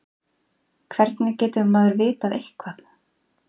Hvernig getur maður vitað eitthvað?